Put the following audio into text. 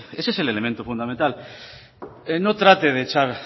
ese es el elemento fundamental no trate